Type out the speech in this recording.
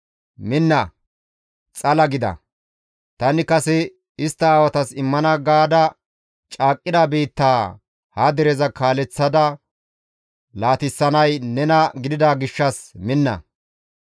«Minna! Xala gida; tani kase istta aawatas immana gaada caaqqida biittaa ha dereza kaaleththada laatisanay nena gidida gishshas minna.